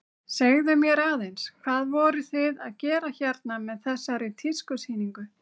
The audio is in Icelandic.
Segðu mér aðeins, hvað voruð þið að gera hérna með þessari tískusýningu?